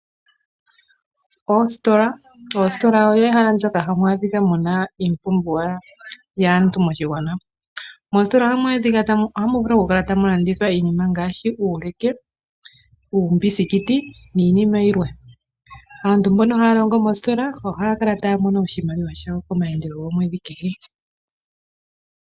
Oositola olyo ehela ndyoka ha mu adhika muna iipumbiwa yaantu moshigwana. Moositola oha mu vulu okukala tamulandithwa iinima ngaashi uuleke, uumbisikiti, niinima yilwe. Aantu mboka hayalongongo moositola oha ya kala tayamono oshimaliwa komaandelo gomwedhi kehe.